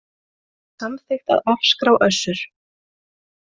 Samþykkt að afskrá Össur